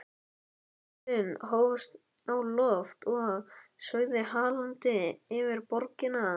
Flugvélin hófst á loft og sveigði hallandi yfir borgina.